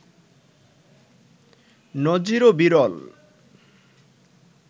নজিরও বিরল